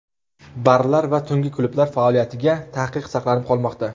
Barlar va tungi klublar faoliyatiga taqiq saqlanib qolmoqda.